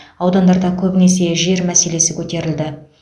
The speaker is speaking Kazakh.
аудандарда көбінесе жер мәселесі көтерілді